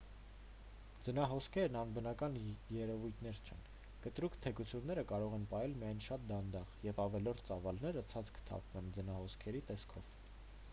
ձնահոսքերն անբնական երևույթներ չեն կտրուկ թեքությունները կարող են պահել միայն շատ դանդաղ և ավելորդ ծավալները ցած կթափվեն ձնահոսքերի տեսքով